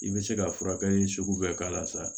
I bɛ se ka furakɛli sugu bɛɛ k'a la sa